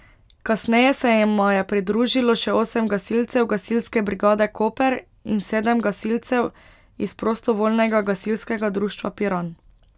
Kasneje se jima je pridružilo še osem gasilcev Gasilske brigade Koper in sedem gasilcev iz Prostovoljnega gasilskega društva Piran.